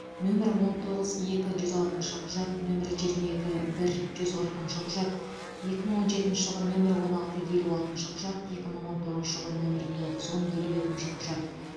нөмірі он тоғыз екі жүз алтыншы құжат нөмірі жиырма екі бір жүз қырығыншы құжат екі мың он жетінші жылғы нөмірі он алты елу алтыншы құжат екі мың он тоғызыншы жылғы нөмірі тоғыз он елу екінші құжат